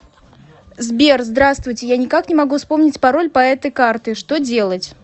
сбер здравствуйте я ни как не могу вспомнить пароль по этой карты что делать